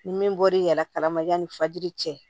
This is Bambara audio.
Ni min bɔr'i yala kalama yani fajiri cɛ